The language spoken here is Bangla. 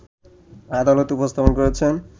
আদালতে উপস্থাপন করেছেন